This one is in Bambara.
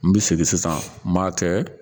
N bi segin sisan n m'a kɛ